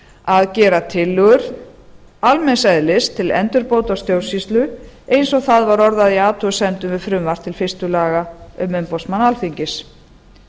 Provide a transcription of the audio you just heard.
að gera tillögur almenns eðlis til endurbóta á stjórnsýslu eins og það var orðað í athugasemdum við frumvarp til fyrstu laga um umboðsmann alþingis